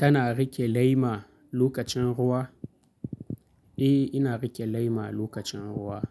Kana riƙe lema lokacin ruwa? Eh, ina riƙe lema lokacin ruwa.